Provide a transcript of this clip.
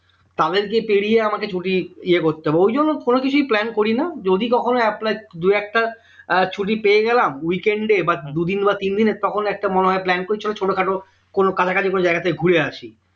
তাদেরকে পেরিয়ে আমাকে ছুটি ইয়ে করতে হবে ওই জন্য কোন কিছুই plan করি না যদি কখনো apply দু একটা আহ ছুটি পেয়ে গেলাম weekend বা দুদিন বা তিন দিনের তখন একটা মনে হয় plan চলো ছোটখাটো কোনো কাছাকাছি কোনো জায়গা থেকে ঘুরে আসি।